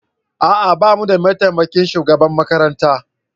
A'a ba mu da mataimakin shugaban makaranta